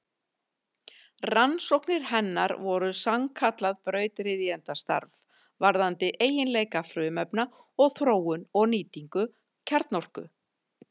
Rannsóknir hennar voru sannkallað brautryðjendastarf varðandi eiginleika frumefna og þróun og nýtingu kjarnorku.